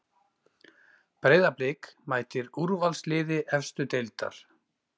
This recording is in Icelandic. Breiðablik mætir úrvalsliði efstu deildar